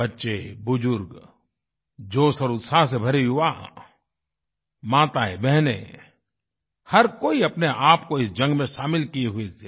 बच्चे बुजुर्ग जोश और उत्साह से भरे युवा माताएँ बहनें हर कोई अपने आप को इस जंग में शामिल किये हुए थे